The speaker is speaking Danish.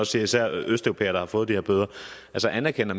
siger især østeuropæere der har fået de her bøder altså anerkender